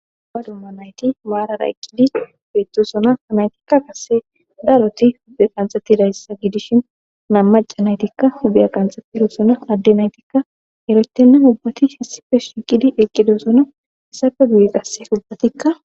aba dumma nayti waarara eqqidi beettosona naytikka qase daaroti hudde qanxatidayssa gidishi nammaca naytikka hudiya qanxettidoosona adde naytikka erotennan ubbati hessife shiqidi eqqido sona isafe guye qasse ubbatikka